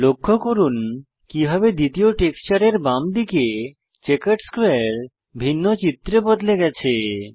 লক্ষ্য করুন কিভাবে দ্বিতীয় টেক্সচারের বাম দিকে চেকার্ড স্কোয়ারে ভিন্ন চিত্রে বদলে গেছে